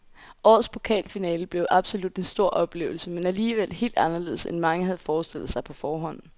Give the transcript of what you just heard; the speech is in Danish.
Årets pokalfinale blev absolut en stor oplevelse, men alligevel helt anderledes end mange havde forestillet sig på forhånd.